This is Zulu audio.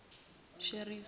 sheferi